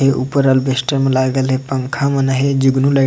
ऊपर अल्बेस्टर मा लगे हे पंखा मन अहाए जुगनू लाइट --